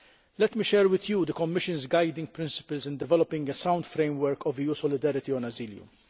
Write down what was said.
Let me share with you the Commission's guiding principles in developing a sound framework for EU solidarity on asylum.